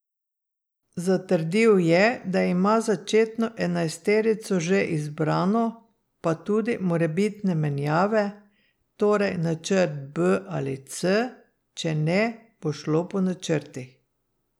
Zatrdil je, da ima začetno enajsterico že izbrano, pa tudi morebitne menjave, torej načrt B ali C, če ne bo šlo po načrtih.